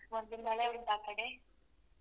ಮಳೆ ಉಂಟಾ ಆಕಡೆ?